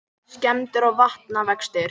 Skemmdir og vatnavextir